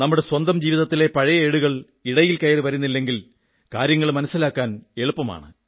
നമ്മുടെ സ്വന്തം ജീവിതത്തിലെ പഴയ ഏടുകൾ ഇടയിൽ കയറി വരുന്നില്ലെങ്കിൽ കാര്യങ്ങൾ മനസ്സിലാക്കാൻ എളുപ്പമാണ്